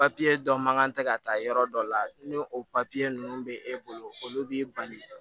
dɔ man kan tɛ ka taa yɔrɔ dɔ la ni o ninnu bɛ e bolo olu b'i bali